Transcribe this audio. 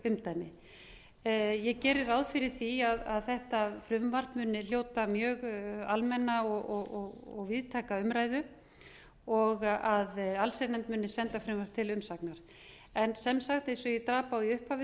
lögregluumdæmi ég geri ráð fyrir því að þetta frumvarp muni hljóta mjög almenna og víðtæka umræðu og að allsherjarnefnd muni senda frumvarpið til umsagnar eins og ég drap á í upphafi